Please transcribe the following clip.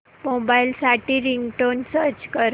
mobile साठी ringtone search कर